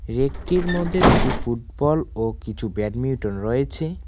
রেকটির মধ্যে দুটি ফুটবল ও কিছু ব্যাডমিউটন রয়েছে।